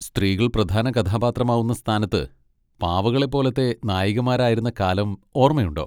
സ്ത്രീകൾ പ്രധാന കഥാപാത്രമാവുന്ന സ്ഥാനത്ത് പാവകളെ പോലത്തെ നായികമാരായിരുന്ന കാലം ഓർമ്മയുണ്ടോ?